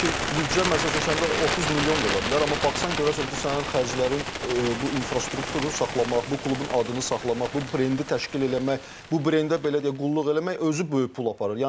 Halbuki büdcə məsəl üçün səndə 30 milyon da ola bilər, amma baxsan görərsən ki, sənin xərclərin bu infrastrukturu saxlamaq, bu klubun adını saxlamaq, bu brendi təşkil eləmək, bu brendə belə deyək qulluq eləmək özü böyük pul aparır.